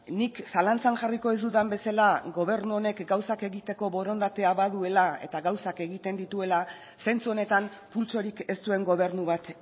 nik zalantzan jarriko dizudan bezala gobernu honek gauzak egiteko borondatea baduela eta gauzak egiten dituela zentzu honetan pultsorik ez duen gobernu bat